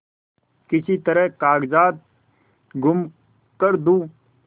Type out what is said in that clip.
किसी तरह कागजात गुम कर दूँ